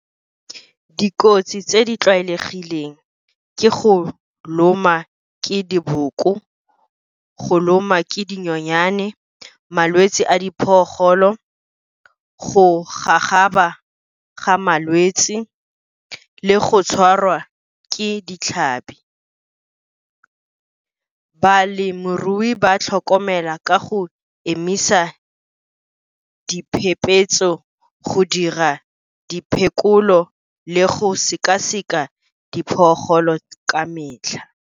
Dikotsi tse di tlwaelegileng ke go loma ke diboko, go loma ke dinyonyane, malwetse a , go gagaba ga malwetse, le go tshwarwa ke ditlhabi. Balemirui ba tlhokomela ka go emisa diphephetso, go dira diphekolo, le go sekaseka ka metlha.